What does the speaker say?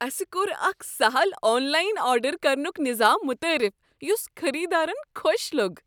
اسہ کوٚر اکھ سہل آن لاین آرڈر کرنک نظام متعارف یس خریدارن خۄش لوٚگ۔